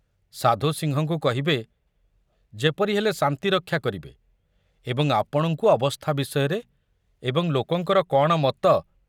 ସାଧୁ ସିଂହଙ୍କୁ କହିବେ ଯେପରି ହେଲେ ଶାନ୍ତି ରକ୍ଷା କରିବେ ଏବଂ ଆପଣଙ୍କୁ ଅବସ୍ଥା ବିଷୟରେ ଏବଂ ଲୋକଙ୍କର କଣ ମତ